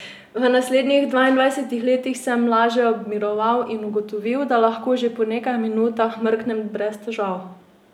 V naslednjih dvaindvajsetih letih sem leže obmiroval in ugotovil, da lahko že po nekaj minutah mrknem brez težav.